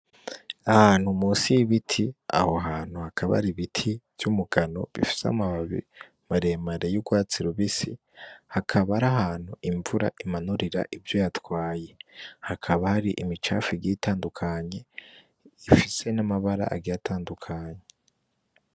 Ahantu munsi y'ibiti aho hantu hakaba hari ibiti vy'umugano bifise amababi maremare y'urwatsi rubisi, hakaba ari ahantu imvura imanurira ivyo yatwaye. Hakaba hari imicafu igiye itandukanye, ifise n'amabara agiye atandukanye.